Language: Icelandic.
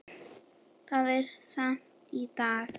Það er safn í dag.